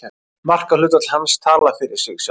Markahlutfall hans talar fyrir sig sjálft.